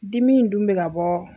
Dimi in dun bɛ ka bɔ